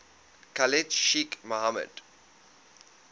khalid sheikh mohammed